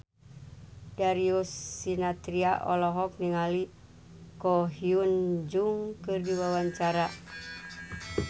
Darius Sinathrya olohok ningali Ko Hyun Jung keur diwawancara